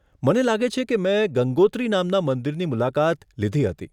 મને લાગે છે કે મેં ગંગોત્રી નામના મંદિરની મુલાકાત લીધી હતી.